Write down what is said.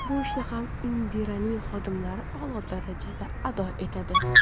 Bu ishni ham Indiraning xodimalari a’lo darajada ado etadi.